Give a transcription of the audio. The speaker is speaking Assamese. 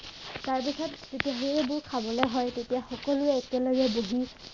তাৰপিছত যেতিয়া সেইবোৰ খাবলে হয় তেতিয়া সকলোৱে একেলগে বহি